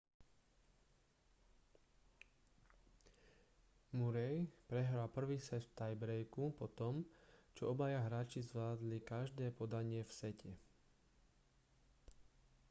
murray prehral prvý set v tiebrejku po tom čo obaja hráči zvládli každé podanie v sete